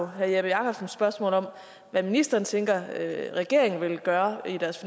herre jeppe jakobsens spørgsmål om hvad ministeren tænker regeringen vil gøre i deres